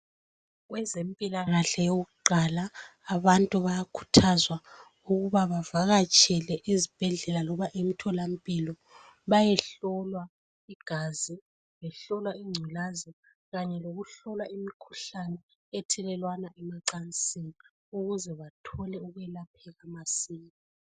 Kwezempilakahle okokuqala abantu bayakhuthazwa ukuba bavakatshele ezibhedlela loba emtholampilo bayehlolwa igazi behlolwa ingculazi kanye lokuhlolwa imikhuhlane ethelelwana emancasini ukuze bathole ukwelapheka masinya.